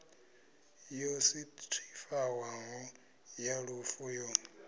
yo sethifaiwaho ya lufu yo